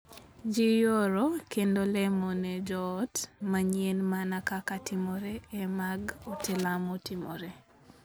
Jii yuoro kendo lemo ne joot manyien mana kaka timore e mag ute lamo timore.